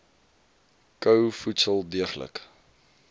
kou voedsel deeglik